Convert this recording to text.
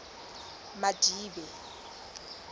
madibe